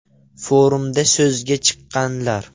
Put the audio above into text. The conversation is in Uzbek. Forumda so‘zga chiqqanlar.